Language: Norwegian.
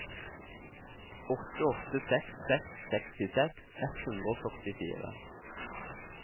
åtte åtte seks seks sekstiseks ett hundre og førtifire